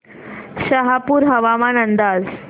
शहापूर हवामान अंदाज